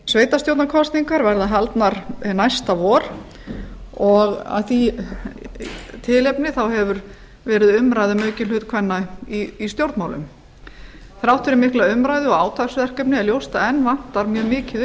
sveitarstjórnarkosningar verða haldnar næsta vor og af því tilefni hefur verið umræða um aukinn hlut kvenna í stjórnmálum þrátt fyrir mikla umræðu og átaksverkefni er ljóst að enn vantar mjög mikið